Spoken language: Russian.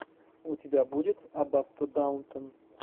у тебя будет аббатство даунтон